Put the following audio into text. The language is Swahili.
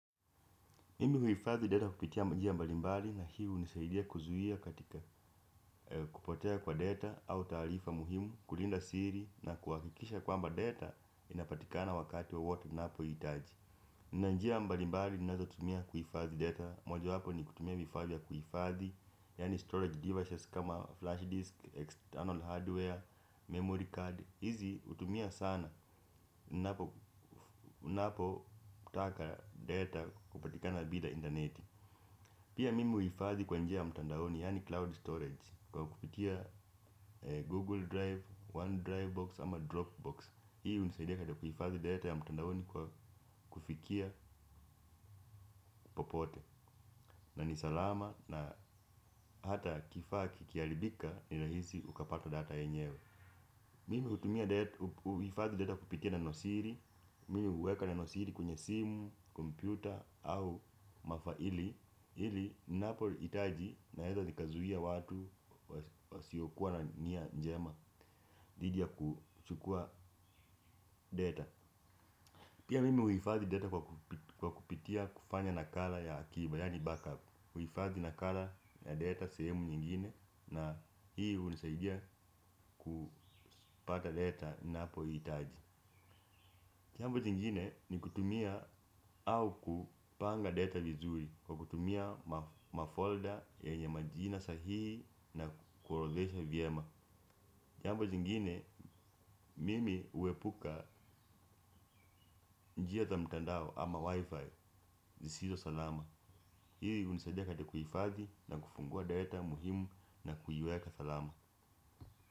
Mimi huhifadhi data kupitia mjia mbalimbali na hii hunisaidia kuzuia katika kupotea kwa data au taarifa muhimu, kulinda siri na kuhakikisha kwamba data inapatikana wakati wowote unapoihitaji. Kuna njia mbalimbali tunaweza kutumia kuhifadhi data mojawapo ni kutumia vifaa vya kuhifadhi yaani storage devices kama flash disk, external hardware, memory card. Hizi hutumia sana unapotaka data kupatikana bila intaneti pia mimi huhifadhi kwa njia ya mtandaoni yaani cloud storage kwa kupitia google drive, one drive box ama dropbox hii hunisaidia katika kuhifadhi data ya mtandaoni kwa kufikia popote na ni salama na hata kifaa kikiharibika ni rahisi ukapata data yenyewe mimi hutumia huhifadhi data kupitia nenosiri, mimi huweka nenosiri kwenye simu, kompyuta au mafaili ili ninapohitaji naweza nikazuia watu wasiokuwa na nia njema dhidi ya kuchukua data pia mimi huhifadhi data kwa kupitia kufanya nakala ya akiba yaani backup kuhifadhi nakala ya data sehemu nyingine na hii hunisaidia kupata data ninapoihitaji jambo jingine ni kutumia au kupanga data vizuri kwa kutumia mafolda yenye majina sahihi na kuorodhesha vyema jambo jingine mimi huepuka njia za mtandao ama wi-fi zisizo salama hii hunisaidia katika kuhifadhi na kufungua data muhimu na kuiweka salama.